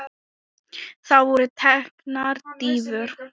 Það voru teknar dýfur.